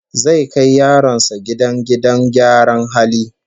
Zai kai yaronsa gidan gidan gyaran halin yara